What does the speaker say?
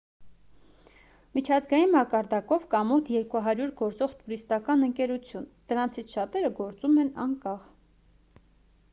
միջազգային մակարդակով կա մոտ 200 գործող տուրիստական ընկերություն դրանցից շատերը գործում են անկախ